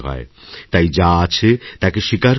তাই যা আছে তাকে স্বীকার করে নিন